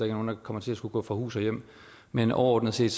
er nogen der kommer til at skulle gå fra hus og hjem men overordnet set